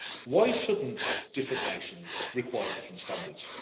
Why shouldn't different nations require different standards?